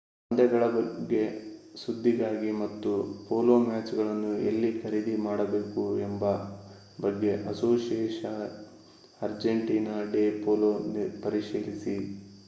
ಪಂದ್ಯಗಳ ಬಗ್ಗೆ ಸುದ್ದಿಗಾಗಿ ಮತ್ತು ಪೋಲೋ ಮ್ಯಾಚ್‌ಗಳನ್ನು ಎಲ್ಲಿ ಖರೀದಿ ಮಾಡಬೇಕು ಎಂಬ ಬಗ್ಗೆ ಅಸೋಸಿಯೇಶನ್‌ ಅರ್ಜೆಂಟೀನಾ ಡೆ ಪೋಲೋ ಪರಿಶೀಲಿಸಿ